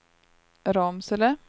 Ramsele